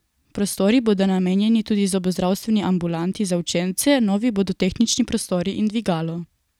Prostori bodo namenjeni tudi zobozdravstveni ambulanti za učence, novi bodo tehnični prostori in dvigalo.